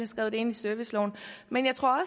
skrevet ind i serviceloven men jeg tror